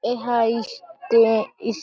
एहा इस स्टे इस--